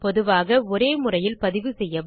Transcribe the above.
பொதுவாக ஒரே முறையில் பதிவு செய்யவும்